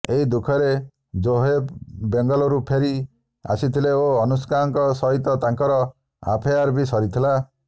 ଏହି ଦୁଃଖରେ ଜୋହେବ୍ ବେଙ୍ଗାଳୁରୁ ଫେରି ଆସିଥିଲେ ଓ ଅନୁଷ୍କାଙ୍କ ସହିତ ତାଙ୍କର ଆଫେଆର୍ ବି ସରିଥିଲା